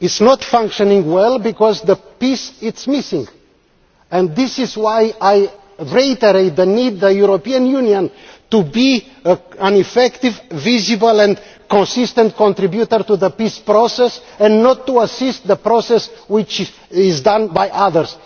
It is not functioning well because peace is missing, and this is why I reiterate the need for the European Union to be an effective, visible and consistent contributor to the peace process and not to assist the process as done by others.